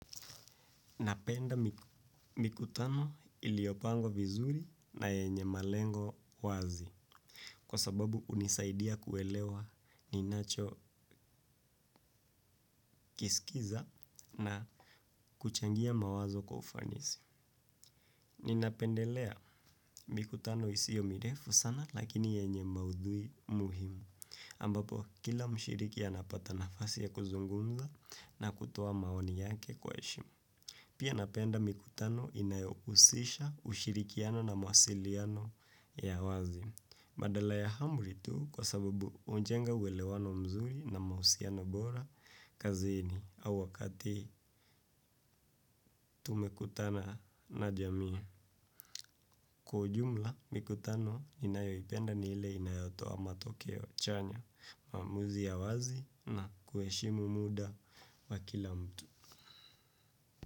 Napenda mikutano iliyopangwa vizuri na yenye malengo wazi kwa sababu hunisaidia kuelewa ninacho kiskiza na kuchangia mawazo kwa ufanisi. Ninapendelea mikutano isio mirefu sana lakini yenye maudhui muhimu ambapo kila mshiriki anapata nafasi ya kuzungumza na kutoa maoni yake kwa heshima. Pia napenda mikutano inayohusisha ushirikiano na mawasiliano ya wazi. Badala ya amri tu kwa sababu hujenga uwelewano mzuri na mahusiano bora kazini au wakati tumekutana na jamii. Kwa jumla mikutano ninayoipenda ni ile inayotoa matokeo chanya maamuzi ya wazi na kuheshimu muda wa kila mtu.